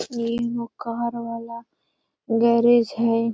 ये एगो कार वाला गैरेज है |